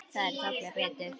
Þær tolla betur.